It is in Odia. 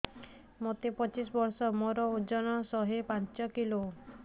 ମୋତେ ପଚିଶି ବର୍ଷ ମୋର ଓଜନ ଶହେ ପାଞ୍ଚ କିଲୋ